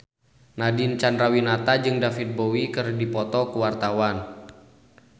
Nadine Chandrawinata jeung David Bowie keur dipoto ku wartawan